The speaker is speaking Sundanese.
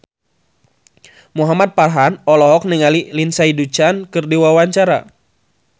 Muhamad Farhan olohok ningali Lindsay Ducan keur diwawancara